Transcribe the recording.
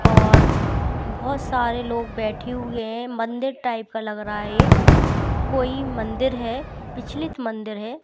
और बहुत सारे लोग बैठे हुए हैं मंदिर टाइप का लग रहा हैये कोई मंदिर है प्रिचलित मंदिर है--